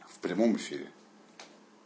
в прямом эфире